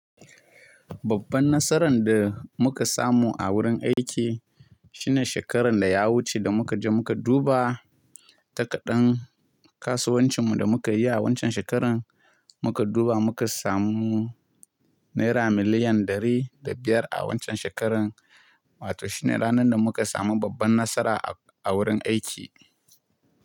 Babban nasaran da muka samu a wurin aiki shine shekarar da ya wuce da muka je muka duba takadan kasuwancinmu da muka yi a waccan shekarar. Muka duba muka samu naira miliyan ɗari da biyar a waccan shekarar, wato shi ne ranar da muka samu babban nasara a wurin aiki.